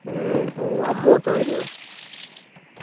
ഹും ഓഹ് അമ്മു ഒക്കെ വേരൊ